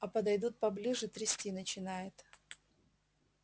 а подойдут поближе трясти начинает